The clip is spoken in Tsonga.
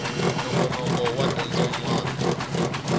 nongonoko wa dyondzo yin wana